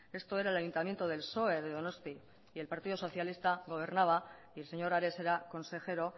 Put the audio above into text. esto era el ayuntamiento del psoe de donosti y el partido socialiste gobernaba y el señor ares era consejero